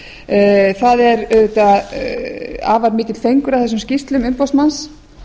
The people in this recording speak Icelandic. fimm það er auðvitað afar mikill fengur að þessum skýrslum umboðsmanns